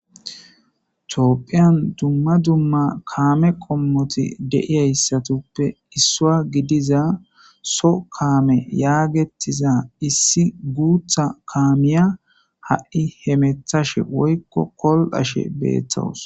Topphiyan dumma dumma kaame qommoti de'iyayssatuppe issua gidiza so kaame yaagettiza issi guutha kaamiya ha'i hemethashe woykko kol'ashe beettawus